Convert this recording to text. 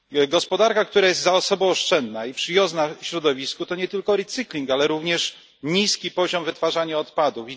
Gospodarka, która jest zasobooszczędna i przyjazna środowisku, to nie tylko recykling, ale również niski poziom wytwarzania odpadów.